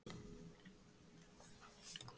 Geirnaglinn bauð best